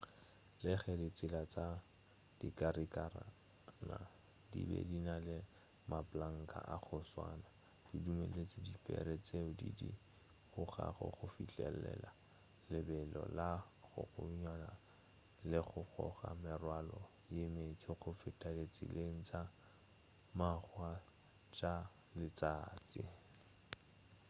le ge ditsela tša dikarikana di be di na le maplanka a go swana di dumeletše dipere tšeo di di gogago go fihlelela lebelo la godingwana le go goga merwalo ye mentši go feta ditseleng tša makgwa tša letšatši